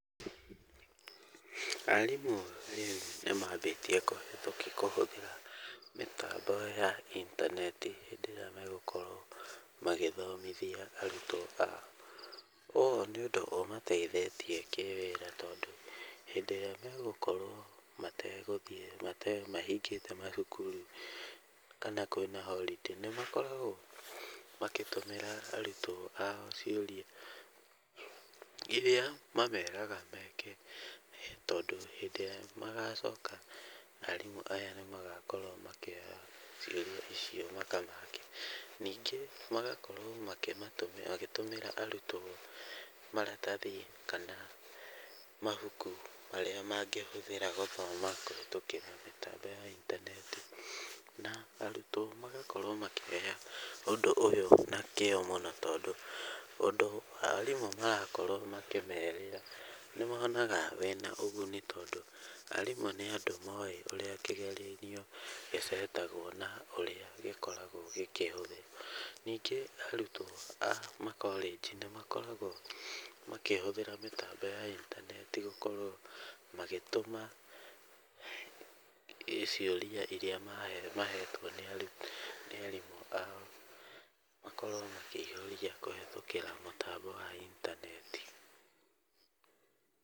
Arimũ rĩu nĩmambĩtie kũhũthĩra mĩtambo ya intaneti hĩndĩ ĩrĩa megũkorwo magĩthomithia arutwo ao. Ũũ nĩ ũndũ ũmateithĩtie kĩwĩra tondũ, hĩndĩ ĩrĩa megũkorwo mategũthiĩ mahingĩte macukuru kana kwĩna holiday nĩmakoragwo makĩtũmĩra arutwo ao ciũria iria mameraga meke tondũ hĩndĩ ĩrĩa magacoka arimũ aya nĩmagakorwo makĩoya ciũria icio makamake. Ningĩ magakorwo makĩmatũmĩra magĩtũmĩra arutwo maratathi kana mabuku marĩa mangĩhũthĩra gũthoma kũhĩtũkĩra mĩtambo ya intaneti, na arutwo magakorwo makĩoya ũndũ ũyũ na kĩo mũno tondũ ũndũ arimũ marakorwo makĩmerĩra nĩmonaga wĩna ũguni tondũ arimũ nĩandũ moĩ ũrĩa kĩgeranio gĩcetagwo na ũrĩa gĩkoragwo gĩkĩhũthĩrwo. Ningĩ arutwo a makoregi nĩmakoragwo makĩhũthira mĩtambo ya intaneti gũkorwo magĩtũma ciũria iria mahetwo nĩ arimũ ao makorwo makĩihũria kũhĩtũkĩra mũtambo wa intaneti.